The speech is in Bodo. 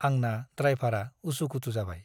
आंना द्राइभारआ उसु - खुथु जाबाय ।